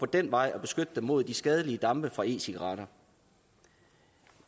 den vej at beskytte dem mod de skadelige dampe fra e cigaretter